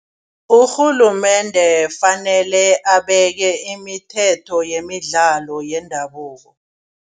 Urhulumende fanele abeke imithetho yemidlalo yendabuko.